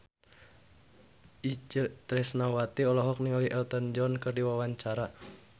Itje Tresnawati olohok ningali Elton John keur diwawancara